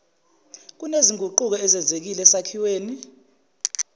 kunezinguquko ezenzekile esakhiweni